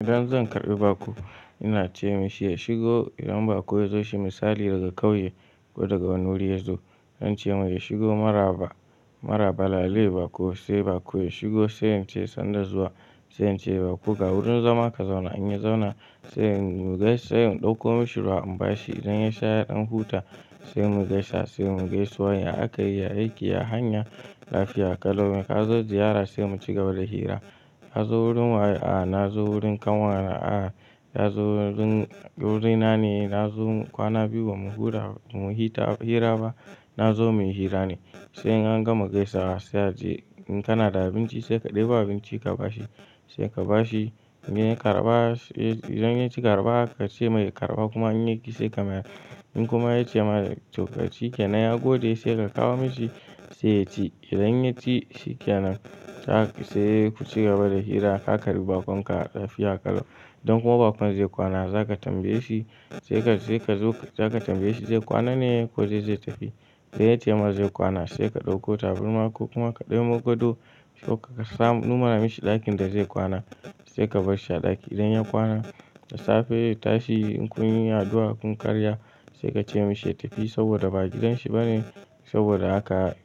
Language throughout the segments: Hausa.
Idan zan karɓi bako ina ce mishi ya shigo. Idan bako ya zo shi misali daga kauye ko daga wani wuri ya zo, zan ce mai ya shigo maraba, maraba lale bako, sai bako ya shigo sai in ce sannu dazuwa, sai in ce bako ga wurin zama ka zauna in ya zauna, sai in gaishe, sai in ɗauko mishi ruwa in ba shi. Idan ya sha ya ɗan huta sai mu gaisa, sai mu gaisuwan ya akayi, ya aiki, ya hanya lafiya kalau. Me ka zo ziyara? Sai mu ci gaba da hira. Ka zo wurin waye? A'a na zo wurin kanwana. A'a ya zo wurin, wurina ne. Na zo kwana biyu ba mu hura, mu hita hira ba. Na zo muyi hira ne. Sai an gama gaisawa sai yace in kana da abinci sai ka ɗebo abinci ka ba shi. Sai ka ba shi, in ya yi karba, idan ya ki karba ka ce masa ya karɓa kuma in ya yi ƙi sai ka mayar. In kuma ya ce maka kyankyasai ya gode sai ka kawo masa sai ya ci. Idan ya ci shi kenan sai ku ci gaba da hira aka karɓi bakonka lafiya kala. Idan kuma bakon zai kwana za ka tambaye shi, sai ka, sai ka zo za ka tambaye shi zai kwana ne ko zai tafi. Sai ya ce maka zai kwana sai ka ɗauko tabirma ko kuma ka nemo godo ko ka samu nuna mashi ɗakin da zai kwana sai ka bar shi a ɗaki. Idan ya kwana, da safe ya tashi in kun yi addu'a kun karya sai ka ce mashi ya tafi saboda ba gidan shi ba ne saboda haka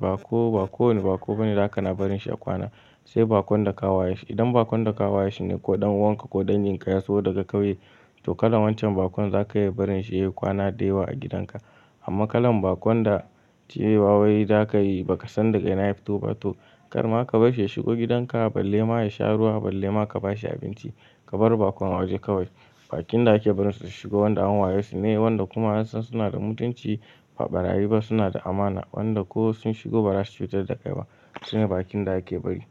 ba ko, ba kowane bako bane za ka na barin shi ya kwana. Sai bakon da ka waye shi. Idan bakon da ka waye shi ne ko ɗan uwanka ko ɗan ginkaya zo daga kauye, to kalan wancan bakon za ka iya barin shi ya yi kwana da yawa a gidanka. Amma kalan bakon da ce wawai za ka yi ba ka san daga ina ya fito ba to, kar ma ka bar shi ya shigo gidan ka balle ma ya sha ruwa, balle ma ka ba shi abinci. Ka bar bakon a waje kawai. Bakin da ake barin su su shigo wanda an waye su ne, wanda kuma an san suna da mutunci, ba ɓarayi ba suna da amana, wanda ko sun shigo ba za su cutar da kai ba. Sune bakin da ake bari.